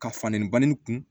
Ka fandan in kun